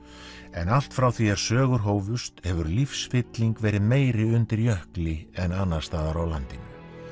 en allt frá því að sögur hófust hefur lífsfylling verið meiri undir jökli en annars staðar á landinu